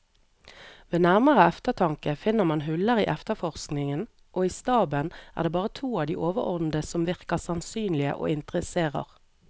Ved nærmere eftertanke finner man huller i efterforskningen, og i staben er det bare to av de overordnede som virker sannsynlige og interesserer.